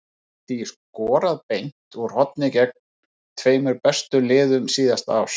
Hann hefur því skorað beint úr horni gegn tveimur bestu liðum síðasta árs.